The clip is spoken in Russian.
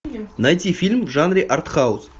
найти фильм в жанре арт хаус